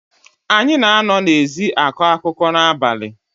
Anyị na-anọ n’ezi akọ akụkọ n’abalị